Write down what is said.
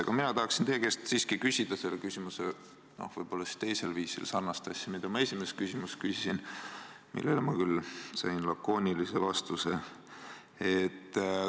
Aga mina tahaksin teie käest siiski küsida selle küsimuse, no võib-olla siis teisel viisil sarnast asja, mida ma esimeses küsimuses küsisin, millele ma küll sain lakoonilise vastuse.